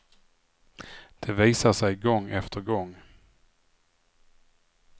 Det visar sig gång efter gång.